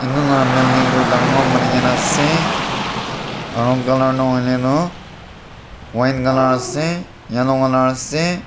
itu la building toh dangor banagena ase aro color toh huile toh white colour ase yellow colour ase.